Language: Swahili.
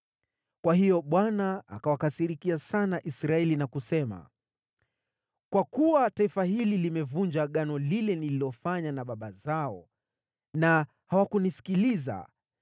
Kwa hiyo Bwana akawakasirikia sana Israeli na kusema, “Kwa kuwa taifa hili limevunja Agano lile nililofanya na baba zao na hawakunisikiliza,